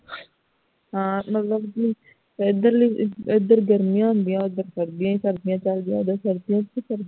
ਹਾਂ ਮਤਲਬ ਕੀ ਏਧਰ ਲੀ ਹੈਦਰ ਗਰਮੀਆਂ ਹੁੰਦੀਆਂ ਓਧਰ ਉਧਰ ਸਰਦੀ ਹੀ ਸਰਦੀ ਚਲਦੀਆਂ ਓਧਰ ਸਰਦੀਆਂ ਚ